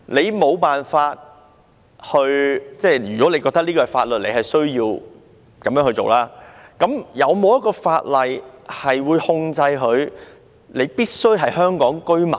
如果有人認為這是法律，有需要依循，那有否法例控制申請者必須是香港居民呢？